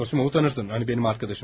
Zosimov tanırsan, hani mənim dostum.